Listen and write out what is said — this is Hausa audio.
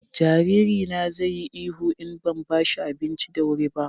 jariri na zai yi ihu in ban bashi abinci da wuri ba